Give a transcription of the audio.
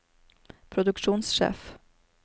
produksjonssjef